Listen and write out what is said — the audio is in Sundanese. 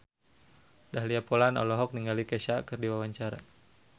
Dahlia Poland olohok ningali Kesha keur diwawancara